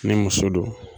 Ni muso don